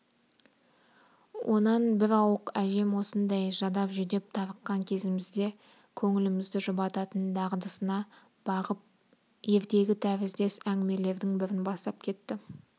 онан бір ауық әжем осындай жадап-жүдеп тарыққан кезімізде көңілімізді жұбататын дағдысына бағып ертегі тәріздес әңгімелердің бірін бастап кетті